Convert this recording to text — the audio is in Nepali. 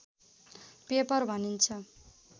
पेपर भनिन्छ